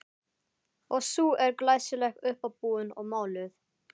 Og sú er glæsileg, uppábúin og máluð!